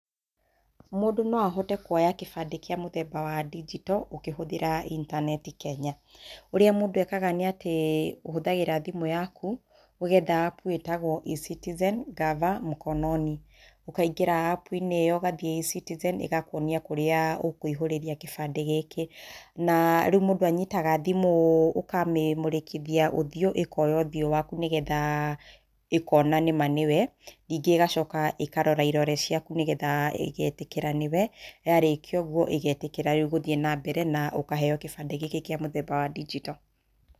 Mũndũ no ahote kũoya kĩbandĩ kĩa mũthemba wa digital ũkĩhũthĩra intaneti Kenya. Ũrĩa mũndũ ekaga nĩ atĩ, ũhũthagĩra thimũ yaku, ũgetha apu ĩtagwo eCitizen Gava Mkononi. Ũkaingĩra apu-inĩ ĩyo ũgathiĩ eCitizen, ĩgakũonia kũrĩa ũkũihũrĩria kĩbandĩ gĩkĩ. Na rĩu mũndũ anyitaga thimũ, ũkamĩmũrĩkithia ũthiũ, ĩkoya ũthiũ waku nĩgetha ĩkona nĩ ma nĩ we. Ningĩ ĩgacoka ĩkorora irore ciaku nĩgetha ĩgeetĩkĩra nĩ we. Yarĩkia ũguo ĩgeetĩkĩra rĩu gũthiĩ nambere na ũkaheo kĩbandĩ gĩkĩ kĩa mũthemba wa digital.